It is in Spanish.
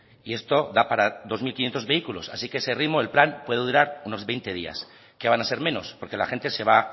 y esto da para dos mil quinientos vehículos así que a ese ritmo el plan puede durar unos veinte días que van a ser menor porque la gente se va